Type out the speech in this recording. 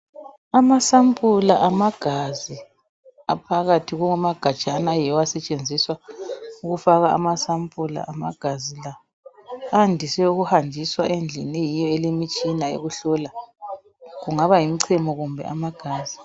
Amasapula amagazi aphakathi kwamagajana ayiwo asetshenziswa ukufaka amasapula amagazi la andise ukuhanjiswa endlini eyiyo elemitshina ekuhlola kungaba yimchemo kumbe amagazi.